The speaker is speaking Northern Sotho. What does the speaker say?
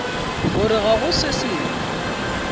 gore ga go se sengwe